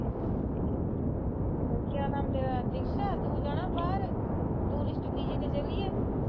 ਹਮ ਕਿਆ ਨਾਮ ਤੇਰਾ ਦਿਕਸ਼ਾ ਤੂੰ ਜਾਣਾ ਬਾਹਰ ਟੂਰਿਸਟ ਵੀਜੇ ਤੇ ਚੱਲੀਏ